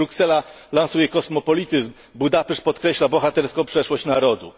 Gdy Bruksela lansuje kosmopolityzm, Budapeszt podkreśla bohaterską przeszłość narodu.